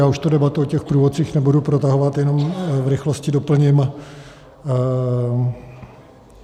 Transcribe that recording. Já už tu debatu o těch průvodcích nebudu protahovat, jenom v rychlosti doplním.